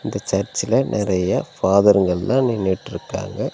இந்த சர்ச்சில நெறைய ஃபாதர்ங்கெல்லா நின்னுட்ருக்காங்க.